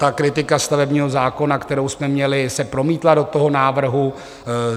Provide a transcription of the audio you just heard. Ta kritika stavebního zákona, kterou jsme měli, se promítla do toho návrhu.